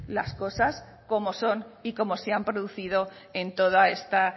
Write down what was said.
las cosas como son y cómo se han producido en toda esta